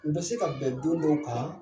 U bɛ se ka bɛn don dɔw kan